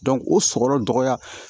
o sɔrɔ dɔgɔya